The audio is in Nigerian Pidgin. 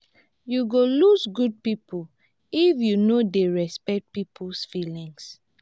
you go lose good people if you no dey respect people feelings.